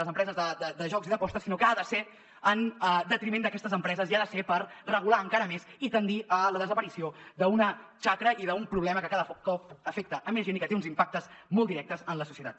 les empreses de jocs i d’apostes sinó que ha de ser en detriment d’aquestes empreses i ha de ser per regular encara més i tendir a la desaparició d’una xacra i d’un problema que cada cop afecta més gent i que té uns impactes molt directes en la societat